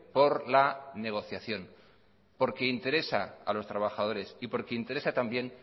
por la negociación porque interesa y porque interesa también